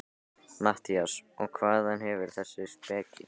MATTHÍAS: Og hvaðan hefurðu þessa speki?